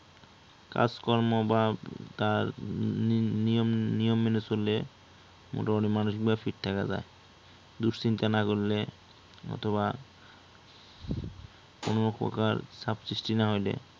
কাজকর্ম বা তার নিয়ম মেনে চললে মোটামুটি মানুসিক ভাবে fit থাকা যায়, দুশ্চিন্তা না করলে অথবা কোনো প্রকার চাপ সৃষ্টি না হইলে